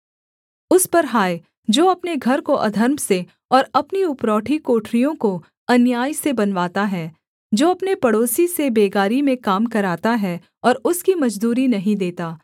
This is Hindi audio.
उस पर हाय जो अपने घर को अधर्म से और अपनी उपरौठी कोठरियों को अन्याय से बनवाता है जो अपने पड़ोसी से बेगारी में काम कराता है और उसकी मजदूरी नहीं देता